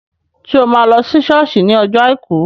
Ṣé o máa lọ sí sọ́ọ̀sì ní ọjọ́ àìkú?